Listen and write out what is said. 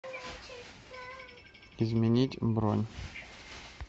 изменить бронь